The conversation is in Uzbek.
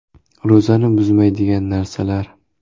Ro‘zani buzmaydigan narsalar.